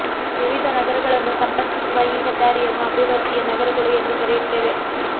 ವಿವಿಧ ನಗರಗಳನ್ನು ಸಂಪರ್ಕಿಸುವ ಈ ಹೆದ್ದಾರಿಯನ್ನು ಅಭಿವೃದ್ಧಿಯ ನರಗಳು ಎಂದು ಕರೆಯುತ್ತೇವೆ